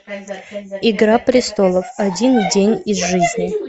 игра престолов один день из жизни